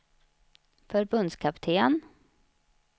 förbundskapten